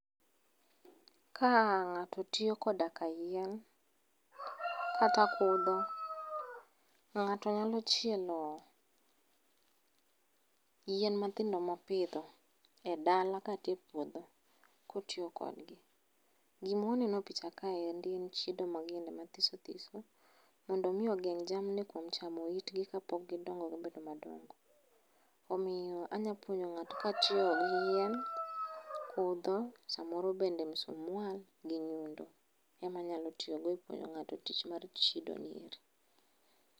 Ka ng'ato tiyo koda kayien, kata kudho, ng'ato nyalo chielo, yien mathindo mopidho e dala kata e puodho kotiyo kodgi. Gimwaneno e picha kaendi en chiedo mag yiende mathisothiso, mondo omi ogeng' jamni kuom chamo itgi kapok gidongo gibedo madongo. Omiyo anya puonjo ng'ato katiyo gi yien, kudho, samoro bende musmwal gi nyundo. Ema anyalo tiyogo e puonjo ng'ato e tich mar chiedoni eri.